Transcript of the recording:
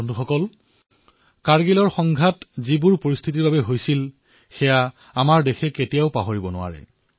বন্ধুসকল কাৰ্গিলৰ যুদ্ধ কি পৰিস্থিতিত হৈছিল সেয়া ভাৰতে কেতিয়াও পাহৰিব নোৱাৰে